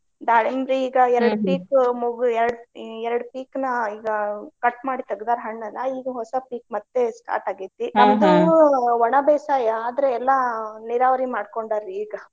ದಾಳಂಬ್ರಿ ಈಗಾ ಪೀಕ್ ಮುಗು~ ಎರ್ಡ್ ಎರ್ಡ್ ಪೀಕ್ ನ ಈಗಾ cut ಮಾಡಿ ತೆಗ್ದಾರ ಹಣ್ಣೆಲ್ಲಾ. ಈಗ ಹೊಸಾ ಪೀಕ್ ಮತ್ತೆ start ಆಗೇತಿ. ಒಣಬೇಸಾಯ ಆದ್ರೆ ಎಲ್ಲಾ ನೀರಾವರಿ ಮಾಡ್ಕೊಂಡಾರ್ರಿ ಈಗ.